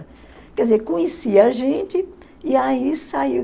Quer dizer, conhecia a gente e aí